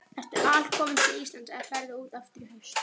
Ertu alkominn til Íslands eða ferðu út aftur í haust?